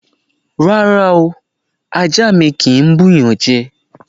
Rárá o! Ajá mi kì ń bú'yàn jẹ.